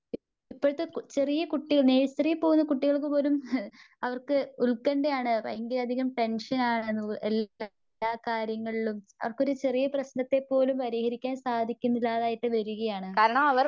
ഇപ്പഴുത്തേ ചെറിയ കുട്ടികൾ നേഴ്‌സറി പോകുന്ന കുട്ടികൾക്ക് പോലും ഹ് അവർക്ക് ഉൽക്കണ്ഠയാണ്. ഭയങ്കരയധികം ടെൻഷനാണ്. എൽ എല്ലാ കാര്യങ്ങളിലും അവർക്കൊരു ചെറിയ പ്രേശ്നത്തെപ്പോലും പരിഹരിക്കാൻ സാധിക്കുന്നില്ലാതായിട്ട് വരികയാണ്.